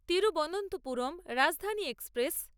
Thiruvananthapuram Rajdhani express